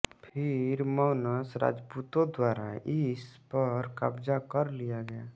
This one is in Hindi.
फिर मौनस राजपूतो द्वारा इस पर कब्ज़ा कर लिया गया